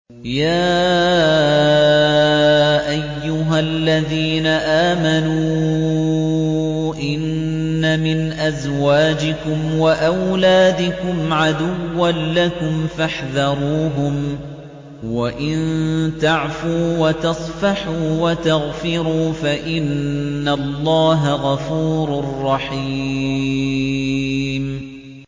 يَا أَيُّهَا الَّذِينَ آمَنُوا إِنَّ مِنْ أَزْوَاجِكُمْ وَأَوْلَادِكُمْ عَدُوًّا لَّكُمْ فَاحْذَرُوهُمْ ۚ وَإِن تَعْفُوا وَتَصْفَحُوا وَتَغْفِرُوا فَإِنَّ اللَّهَ غَفُورٌ رَّحِيمٌ